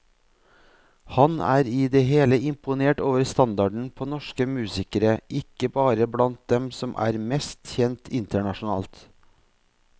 Han er i det hele imponert over standarden på norsk musikere, ikke bare blant dem som er mest kjent internasjonalt.